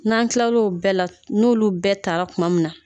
N'an kila l'o bɛɛ la, n'olu bɛɛ ta ra tuma min na